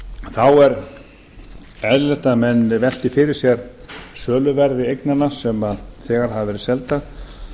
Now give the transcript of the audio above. þá er eðlilegt að menn velti fyrir sér söluverði eignanna sem þegar hafa verið seldar